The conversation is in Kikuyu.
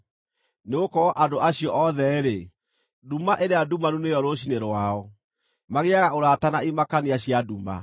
Nĩgũkorwo andũ acio othe-rĩ, nduma ĩrĩa ndumanu nĩyo rũciinĩ rwao; magĩaga ũrata na imakania cia nduma.